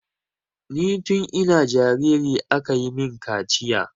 Ni tun ina jariri aka yi min kaciya.